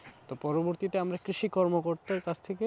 তো পরবর্তীতে আমরা কৃষিকর্ম করতাম চাষ থেকে,